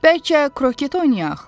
Bəlkə kroket oynayaq?